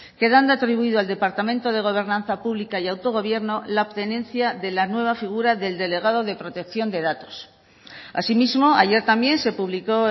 quedando atribuido al departamento de gobernanza pública y autogobierno la obtenencia de la nueva figura del delegado de protección de datos asimismo ayer también se publicó